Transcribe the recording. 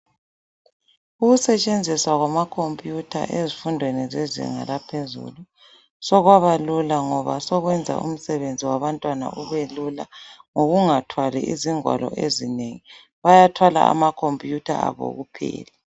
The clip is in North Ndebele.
Ukusetshenziswa kwama computer ezifundweni zezinga laphezulu sokwaba lula ngoba sokuyenza umsebenzi wabantwana ubelula ngokungathwali izingwalo ezinengi bayathwala amacomputer abo kuphela.